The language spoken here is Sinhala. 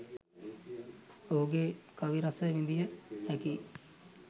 ඔහුගේ කවි රස විඳිය හැකියි.